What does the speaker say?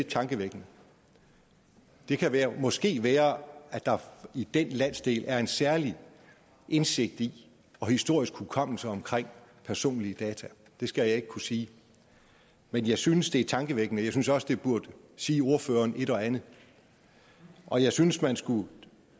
tankevækkende det kan måske være at der i den landsdel er en særlig indsigt i og historisk hukommelse omkring personlige data det skal jeg ikke kunne sige men jeg synes det er tankevækkende jeg synes også det burde sige ordføreren et og andet og jeg synes man skulle